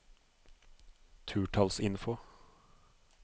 turtallsinfo